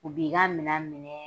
U b'i ka minɛn minɛ